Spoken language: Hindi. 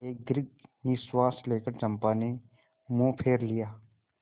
एक दीर्घ निश्वास लेकर चंपा ने मुँह फेर लिया